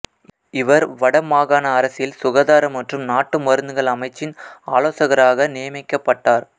இவர் வட மாகாண அரசில் சுகாதார மற்றும் நாட்டு மருத்துகள் அமைச்சின் ஆலோசகராக நியமிக்கப்பட்டார்